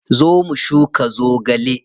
Zo mu shuka zogale.